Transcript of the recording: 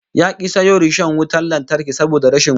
Ya ki sayo rishon wutan lantarki saboda rashin wuta